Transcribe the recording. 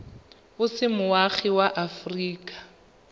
o se moagi wa aforika